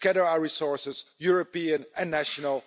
Let's gather our resources, European and national.